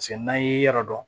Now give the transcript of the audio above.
Paseke n'an ye yɔrɔ dɔn